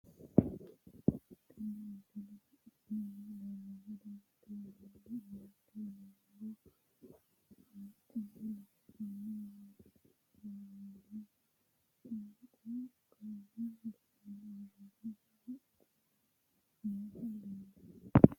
Tenne misilenni la'nanniri woy leellannori maattiya noori amadde yinummoro haquunni loonsonse woroonnihu saanqu qalame ganne woroonnihu haqqu mine noohu leelanno